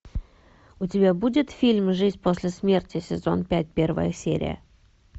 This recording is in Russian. у тебя будет фильм жизнь после смерти сезон пять первая серия